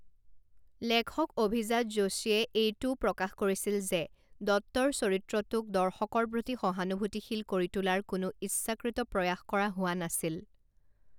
লেখক অভিজাত যোশীয়ে এইটোও প্ৰকাশ কৰিছিল যে দত্তৰ চৰিত্ৰটোক দৰ্শকৰ প্ৰতি সহানুভূতিশীল কৰি তোলাৰ কোনো ইচ্ছাকৃত প্ৰয়াস কৰা হোৱা নাছিল।